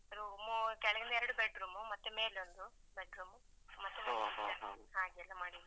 Room ಉ ಕೆಳಗಿಂದು ಎರಡು bed room ಮತ್ತೆ ಮೇಲೆ ಒಂದು bed room . ಮತ್ತೆ kitchen ಹಾಗೆಲ್ಲ ಮಾಡಿದ್ದು.